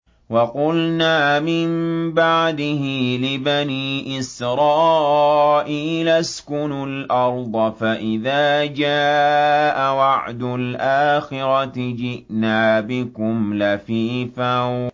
وَقُلْنَا مِن بَعْدِهِ لِبَنِي إِسْرَائِيلَ اسْكُنُوا الْأَرْضَ فَإِذَا جَاءَ وَعْدُ الْآخِرَةِ جِئْنَا بِكُمْ لَفِيفًا